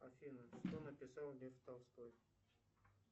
афина что написал лев толстой